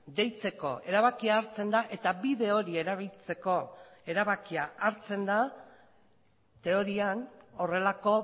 deitzeko erabakia hartzen da eta bide hori erabiltzeko erabakia hartzen da teorian horrelako